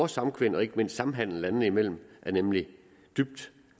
samkvem og ikke mindst samhandel landene imellem er nemlig dybt